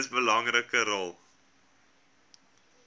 mees belangrike rol